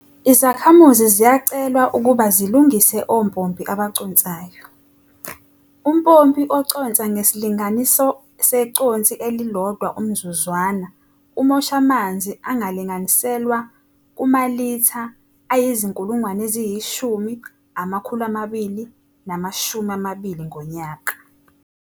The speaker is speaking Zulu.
Izakhamuzi ziyacelwa ukuba zilungise ompompi abaconsayo. Umpompi oconsa ngesilinganiso seconsi elilodwa umzuzwana umosha amanzi alinganiselwa kumalitha ayizi-10 220 ngonyaka.